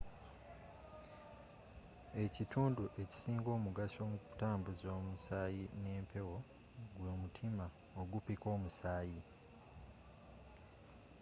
ekitundu ekisinga omugaso mu ntambuza y'omusaayi n'empewo gw'omutima ogupikka omusaayi